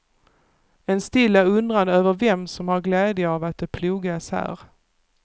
En stilla undran över vem som har glädje av att det plogas här.